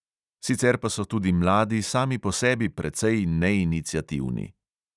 Sicer pa so tudi mladi sami po sebi precej neiniciativni.